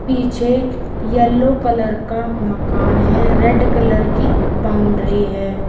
पीछे yellow colour का मकान है रेड कलर की बाउंड्री है।